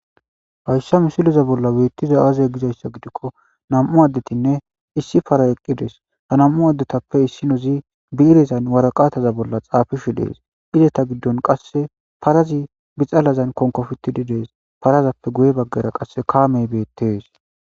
hayssa misiliza bolla weettiza aazey gizayssa gidikko nam7u addetinne issi para eqqidees ha nam7u addetappe issinozi bi7irezan waraqataza bolla xaafishu dees izeta giddon qasse parazi bixalazan konkofittididees parazappe guye baggara qasse kaamey beettees